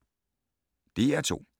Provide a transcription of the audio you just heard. DR2